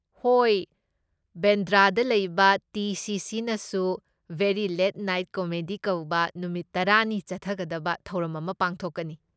ꯍꯣꯏ, ꯕꯦꯟꯗ꯭ꯔꯥꯗ ꯂꯩꯕ ꯇꯤ.ꯁꯤ.ꯁꯤ.ꯅꯁꯨ 'ꯚꯦꯔꯤ ꯂꯦꯠ ꯅꯥꯏꯠ ꯀꯣꯃꯦꯗꯤ' ꯀꯧꯕ ꯅꯨꯃꯤꯠ ꯇꯔꯥꯅꯤ ꯆꯠꯊꯒꯗꯕ ꯊꯧꯔꯝ ꯑꯃ ꯄꯥꯡꯊꯣꯛꯀꯅꯤ꯫